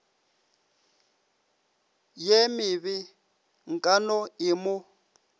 ye mebe nkano e mo